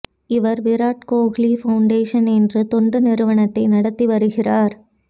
இவர் விராட்கோஹ்லி பவுண்டேஷன் என்ற தொண்டு நிறுவனத்தை நடத்தி வருகிறார்